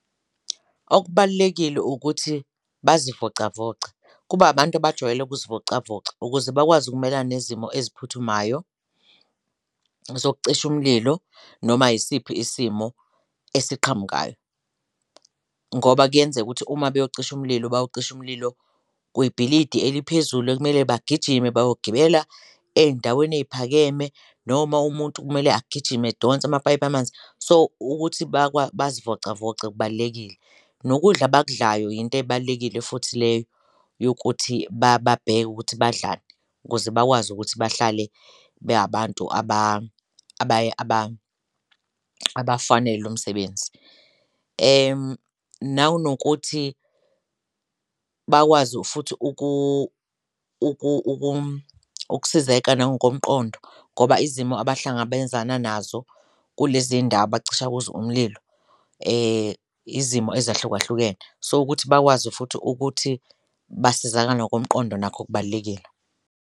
Okubalulekile ukuthi bazivocavoce kube abantu abajwayele ukuzivocavoca ukuze bakwazi ukumelana nezimo eziphuthumayo zokucisha umlilo noma isiphi isimo esiqhamukayo, ngoba kuyenzeka ukuthi uma beyocisha umlilo bayocisha umlilo kwibhilidi eliphezulu ekumele bagijime bayogibela eyindaweni eyiphakeme, noma umuntu kumele agijime edonsa amapayipi amanzi. So, ukuthi bazivocavoce kubalulekile nokudla abakudlayo yinto ebalulekile futhi leyo yokuthi babheke ukuthi badlani ukuze bakwazi ukuthi bahlale be abantu abafanele umsebenzi, nanokuthi bakwazi futhi ukusizeka nangokomqondo ngoba izimo abahlangabezana nazo kule zindawo abacisha kuzo umlilo izimo ezahlukahlukenes. So, ukuthi bakwazi futhi ukuthi basizakale nokomqondo nakho kubalulekile.